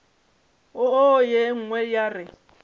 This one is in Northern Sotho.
wo ye nngwe ya re